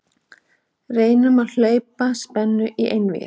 Reynum að hleypa spennu í einvígið